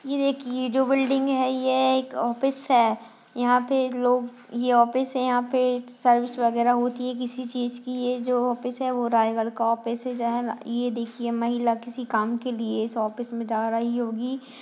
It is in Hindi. यह देखिए यह जो बिल्डिंग है यह एक ऑफिस है यहाँ पे लोग यह ऑफिस है यहाँ पे सेल्स वगैरा होती है किसी चीज की यह जो ऑफिस है वह रायगढ़ का ऑफिस है जहाँ यह देखिए महिला किसी काम के लिए इस ऑफिस में जा रही होगी।